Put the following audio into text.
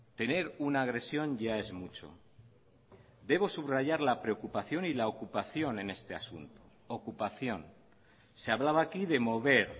tener una agresión ya es mucho debo subrayar la preocupación y la ocupación en este asunto ocupación se hablaba aquí de mover